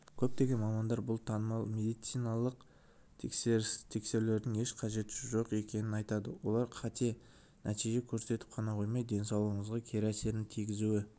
көптеген мамандар бұл танымал медициналық тексерулердің еш қажеті жоқ екенін айтады олар қате нәтиже көрсетіп қана қоймай денсаулығыңызға кері әсерін тигізуі